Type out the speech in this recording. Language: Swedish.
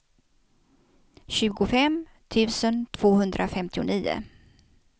tjugofem tusen tvåhundrafemtionio